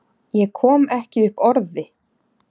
Ég kom ekki upp orði.